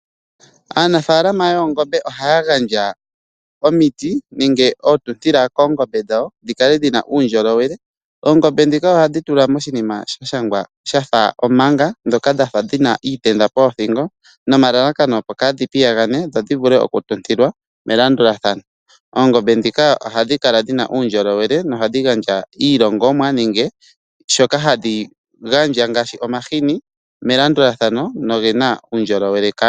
Aanafalama yoongombe ohaya gandja omiti nenge oontutila koongombe dhawo dhi kale dhina uundjolowele. Oongombe ndhika ohaye dhitula moshinimshafa omanga muna iitenda opo kadhi kale tadhi piyagana. Oongombe dhika ohadhi kala dhina uundjolowele nohadhi gandja iilongomwa ngaashi omahini melandulathano nogena uundjolowele kaantu.